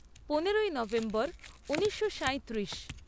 পনেরোই নভেম্বর ঊনিশো সাঁইত্রিশ